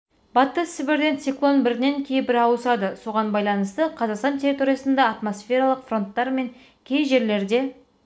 батыс сібірден циклон бірінен кейін бірі ауысады соған байланысты қазақстан территориясында атмосфералық фронттар мен кей жерлерде